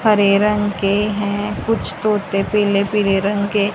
हरे रंग के हैं कुछ तोते पीले पीले रंग के--